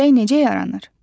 Külək necə yaranır?